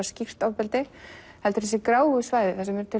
skýrt ofbeldi heldur þessi gráu svæði